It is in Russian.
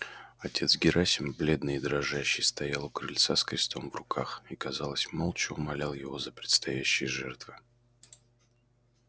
отец герасим бледный и дрожащий стоял у крыльца с крестом в руках и казалось молча умолял его за предстоящие жертвы